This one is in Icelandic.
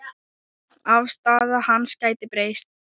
Afstaða hans gæti breyst.